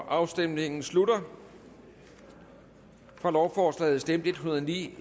afstemningen slutter for lovforslaget stemte en hundrede og ni